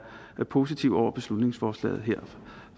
positive over for beslutningsforslaget her